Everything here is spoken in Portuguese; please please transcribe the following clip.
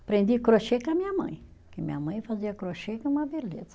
Aprendi crochê com a minha mãe, porque minha mãe fazia crochê que é uma beleza.